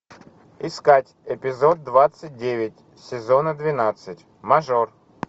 искать эпизод двадцать девять сезона двенадцать мажор